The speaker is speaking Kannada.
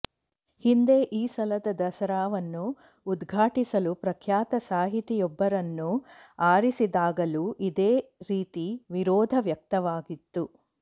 ಹಿಂದೆ ಈ ಸಲದ ದಸರಾವನ್ನು ಉದ್ಘಾಟಿಸಲು ಪ್ರಖ್ಯಾತ ಸಾಹಿತಿಯೊಬ್ಬರನ್ನು ಆರಿಸಿದಾಗಲೂ ಇದೇ ರೀತಿ ವಿರೋಧ ವ್ಯಕ್ತವಾಗಿತ್ತು